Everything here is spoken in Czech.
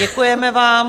Děkujeme vám.